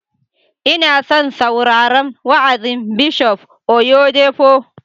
Ina son sauraron wa'azin Bishop Oyedepo